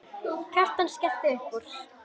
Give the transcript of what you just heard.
Kjartan skellti upp úr.